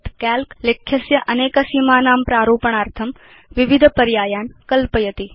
काल्क लेख्यस्य अनेक सीमानां प्रारूपणार्थं विविध पर्यायान् कल्पयति